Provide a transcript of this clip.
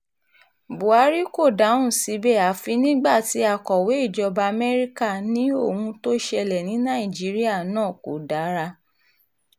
buhari kò dáhùn síbẹ̀ àfi nígbà tí akọ̀wé ìjọba amẹ́ríkà ní ohun tó ṣẹlẹ̀ ní nàìjíríà náà kò dára